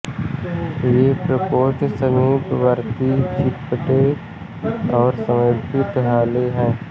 ये प्रकोष्ठ समीपवर्तीं चिपटे और सर्पिल हाते हैं